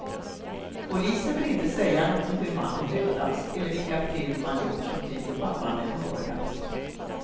Polisen vill inte säga något om hur mannen dödats eller vilka fynd man gjort som tyder på att mannen mördats.